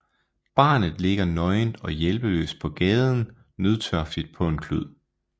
Barnet ligger nøgent og hjælpeløst på gaden nødtørftigt på en klud